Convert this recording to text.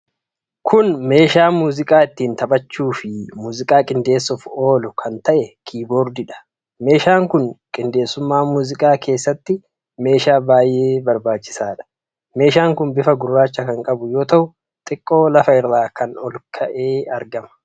Kuni meeshaa muuziqaa ittin taphachuufi muuziqaa qindeessuuf oolu kan ta'e, Keeyboordiidha. Meeshaan kun qindeessummaa muuziqaa keessatti meeshaa baay'ee barbaachisaadha. Meeshaan kun bifa gurraacha kan qabu yoo ta'u xiqqoo lafa irraa ol ka'ee argama.